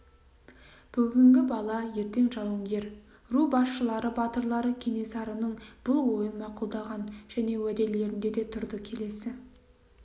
бүгінгі бала ертең жауынгер ру басшылары батырлары кенесарының бұл ойын мақұлдаған және уәделерінде де тұрды келесі